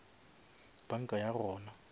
banka ya gona